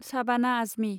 साबाना आजमि